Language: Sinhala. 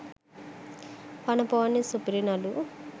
පණ පොවන්නේ සුපිරි නළු